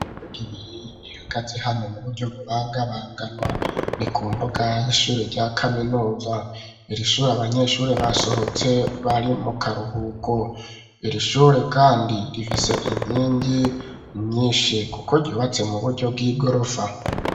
Ugimiye ihagazi hano mu buryo bubanga banganwa ni kumbugah ishure rya kaminuza irishure abanyeshure basohotse bari mu karuhuko irishure, kandi rifise inyingi nyinshi, kuko ryubatse mu buryo bw'igorofa.